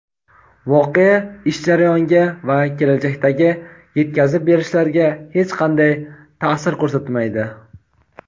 voqea ish jarayoniga va kelajakdagi yetkazib berishlarga hech qanday ta’sir ko‘rsatmaydi.